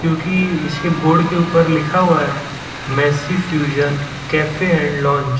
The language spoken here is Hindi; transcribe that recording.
जो कि इसके बोर्ड के ऊपर लिखा हुआ है messy fusion cafe and lounge --